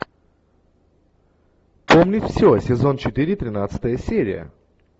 помнить все сезон четыре тринадцатая серия